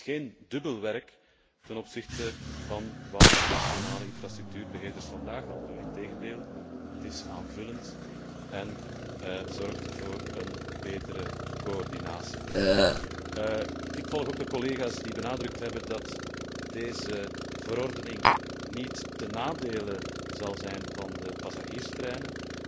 Het is geen dubbel werk ten opzichte van wat nationale infrastructuurbeheerders vandaag al doen. Integendeel, het is aanvullend en zorgt voor een betere coördinatie. Ik sluit mij ook aan bij de collega's die benadrukt hebben dat deze verordening niet ten nadele zal zijn van de passagierstreinen.